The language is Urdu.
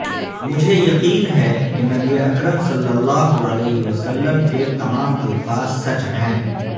مجھے یقین ہے کہ نبی اکرم صلی اللہ علیہ وسلم کے تمام الفاظ سچ ہیں